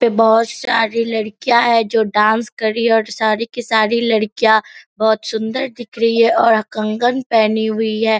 पे बहुत सारी लड़कियाँ हैं जो डांस कर रही और सारी की सारी लड़कियाँ बहुत सुंदर दिख रही हैं और कंगन पहनी हुई है।